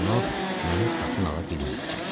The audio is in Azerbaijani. Lakin o məni satın ala bilməyəcək.